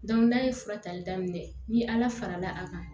n'a ye fura tali daminɛ ni ala fara la a kan